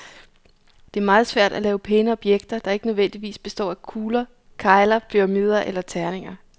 Det er meget svært at lave pæne objekter, der ikke nødvendigvis består af kegler, kugler, pyramider eller terninger.